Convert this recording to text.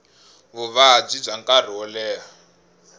vuvabyi bya nkarhi wo leha